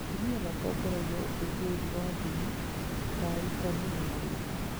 Atumia matongoragia ũkũngũĩri wa ndini ta arutani na arĩithi.